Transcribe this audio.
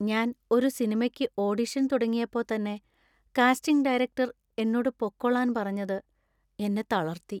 ഞാൻ ഒരു സിനിമക്ക് ഓഡിഷൻ തുടങ്ങിയപ്പോ തന്നെ കാസ്റ്റിംഗ് ഡയറക്ടർ എന്നോട് പൊക്കോളാന്‍ പറഞ്ഞത് എന്നെ തളര്‍ത്തി.